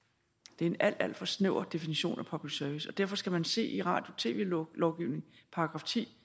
det er en alt alt for snæver definition af public service og derfor skal man se i radio og tv lovgivningen § ti